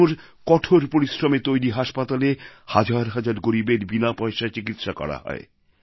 আজ ওঁর কঠোর পরিশ্রমে তৈরি হাসপাতালে হাজার হাজার গরীবের বিনা পয়সায় চিকিৎসা করা হয়